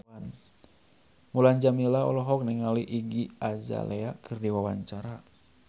Mulan Jameela olohok ningali Iggy Azalea keur diwawancara